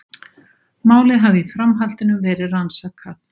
Málið hafi í framhaldinu verið rannsakað